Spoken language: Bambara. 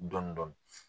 Dɔndɔni